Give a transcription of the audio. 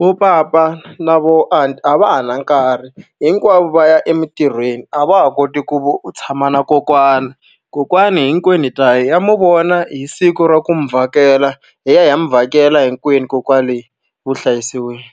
vo papa na vo aunty a va ha na nkarhi, hinkwavo va ya emintirhweni. A va ha koti ku tshama na kokwana. Kokwana hinkwenu ta ya hi ya n'wi vona hi siku ra ku n'wi vhakela, hi ya hi ya 'wi vhakela hinkwenu kona kwale vuhlayiselweni.